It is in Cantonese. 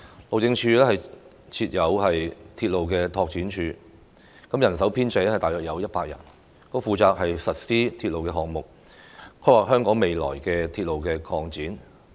路政署設有鐵路拓展處，人手編制大約是100人，負責實施鐵路項目，規劃香港未來的鐵路擴展。